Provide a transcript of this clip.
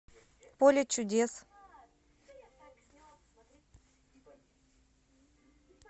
поле чудес